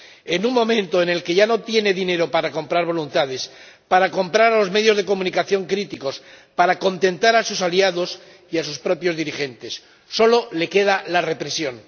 En un momento en el que ya no tiene dinero para comprar voluntades, para comprar a los medios de comunicación críticos, para contentar a sus aliados y a sus propios dirigentes, solo le queda la represión.